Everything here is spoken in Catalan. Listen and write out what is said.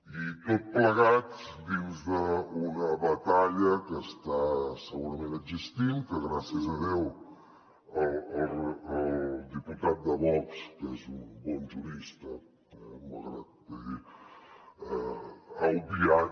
i tot plegat dins d’una batalla que està segurament existint que gràcies a déu el diputat de vox que és un bon jurista eh malgrat que ha obviat